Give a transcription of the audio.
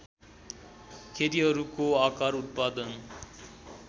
खेतीहरूको आकार उत्पादन